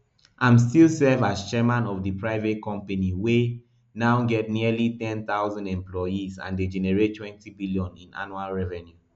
im still serve as chairman of di private company wey now get nearly ten thousand employees and dey generate twenty billion in annual revenue